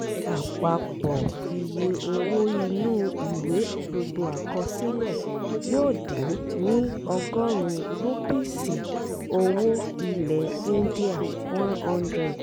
àpapọ̀ iye owó inú ìwé gbogbo àkọsílẹ yóò dín ni ọgọ́rùn-ún rúpíìsì -owó ilẹ̀ íńdíà ( one hundred )